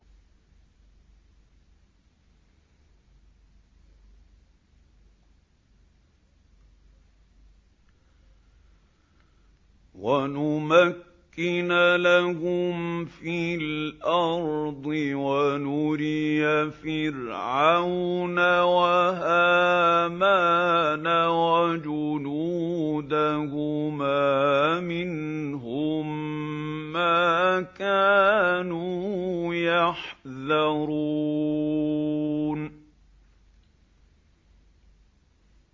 وَنُمَكِّنَ لَهُمْ فِي الْأَرْضِ وَنُرِيَ فِرْعَوْنَ وَهَامَانَ وَجُنُودَهُمَا مِنْهُم مَّا كَانُوا يَحْذَرُونَ